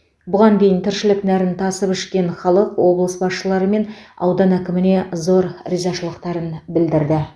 бұған дейін тіршілік нәрін тасып ішкен халық облыс басшылары мен аудан әкіміне зор ризашылықтарын білдірді